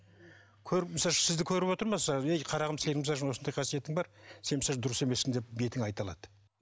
көріп мысал үшін сізді көріп отыр ма сразу ей қарағым сенің мысалы үшін осындай қасиетің бар сен мысал үшін дұрыс емессің деп бетіңе айта алады